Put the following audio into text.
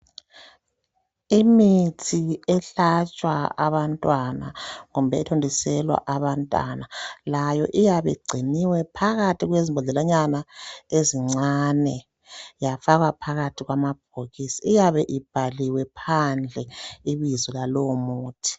Imithi ehlatshwa abantwana kumbe ethontiselwa abantana layo iyabe igciniwe phakathi kwezimbodlelanyana ezincane yafakwa phakathi kwamabhokisi. Iyabe ibhaliwe phandle ibizo lalowo muthi